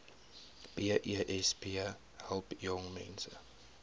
besp help jongmense